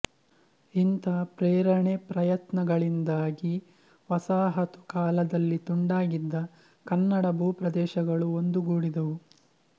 ಇಂಥ ಪ್ರೇರಣೆ ಪ್ರಯತ್ನಗಳಿಂದಾಗಿ ವಸಾಹತು ಕಾಲದಲ್ಲಿ ತುಂಡಾಗಿದ್ದ ಕನ್ನಡ ಭೂ ಪ್ರದೇಶಗಳು ಒಂದುಗೂಡಿದವು